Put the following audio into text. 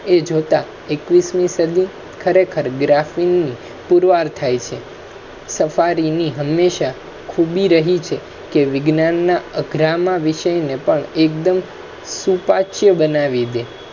એ જોતા એકવીસમી સદી ખરેખર ની પુરવાર થાય છે સફારી ની હમેશા ખૂબી રહી છે કે વિજ્ઞાન ના અગ્રામાં વિષય ને પણ એકદમ શુંવાંચ્ય બનાવી દે